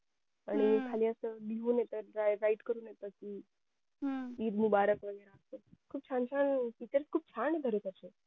आणि खाली असं लिहून येत write करून येत कि ईद मुबारख वैगरे खूप छान छान features खूप छान ये बरं त्याच्यात